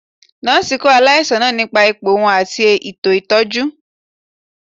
Nọọsi kọ alaisan naa nipa ipo wọn ati eto itọju.